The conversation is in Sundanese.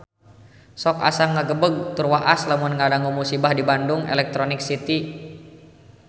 Sok asa ngagebeg tur waas lamun ngadangu musibah di Bandung Electronic City